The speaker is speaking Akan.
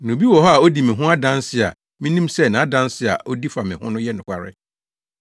Na obi wɔ hɔ a odi me ho adanse a minim sɛ nʼadanse a odi fa me ho no yɛ nokware.